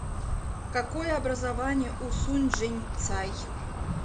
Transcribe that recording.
какое образование у сунь чжэнцай